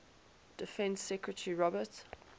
defense secretary robert